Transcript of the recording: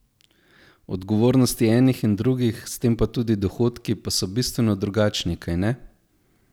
Odgovornosti enih in drugih, s tem pa tudi dohodki, pa so bistveno drugačni, kajne?